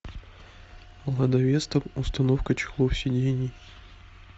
лада веста установка чехлов сидений